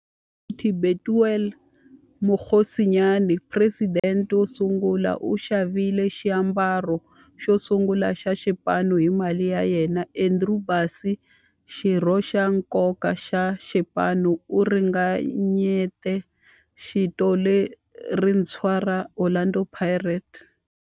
Hi 1940, Bethuel Mokgosinyane, president wosungula, u xavile xiambalo xosungula xa xipano hi mali ya yena. Andrew Bassie, xirho xa nkoka xa xipano, u ringanyete vito lerintshwa ra 'Orlando Pirates'.